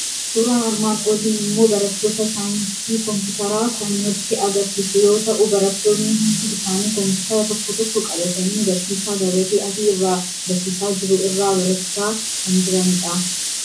Suuraan armaan olii immoo barattoota saayinsii Kompiitaraa kan nutti argisiisu yoo ta'u, barattoonni hundi isaanii Kompiitara tokko tokko qabatanii barsiisaa gabatee adii irraa barsiisaa jiru irraa barachaa kan jirani dha.